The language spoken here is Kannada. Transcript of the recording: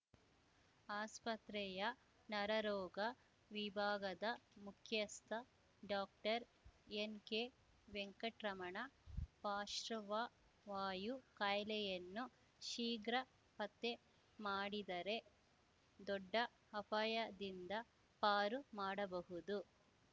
ಆಸ್ಪತ್ರೆಯ ನರರೋಗ ವಿಭಾಗದ ಮುಖ್ಯಸ್ಥ ಡಾಕ್ಟರ್ಎನ್‌ಕೆವೆಂಕಟ್ ರಮಣ ಪಾಶ್ರ್ವವಾಯು ಕಾಯಿಲೆಯನ್ನು ಶೀಘ್ರ ಪತ್ತೆ ಮಾಡಿದರೆ ದೊಡ್ಡ ಅಪಾಯದಿಂದ ಪಾರು ಮಾಡಬಹುದು